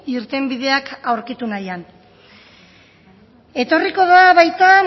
irtenbideak aurkitu nahian etorriko da baita